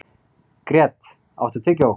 Grét, áttu tyggjó?